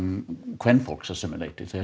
kvenfólks að sumu leyti þegar